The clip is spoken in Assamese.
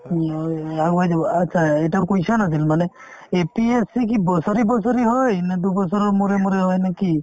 উম, হয় আগুৱাই যাব achcha এটা question আছিল মানে APSC কি বছৰি বছৰি হয় নে দুবছৰৰ মূৰে মূৰে হয় নে কি